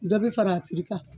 Dɔ be fara a piri kan